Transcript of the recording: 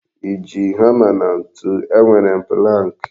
I ji hama na ntụ? E nwere m pụlank.